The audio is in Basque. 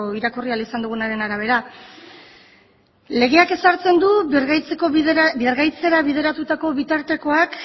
irakurri izan ahal dugunaren arabera legeak ezartzen du birgaitzera bideratutako bitartekoak